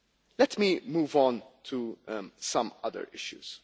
Let me move on to some other issues.